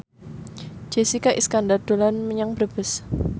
Jessica Iskandar dolan menyang Brebes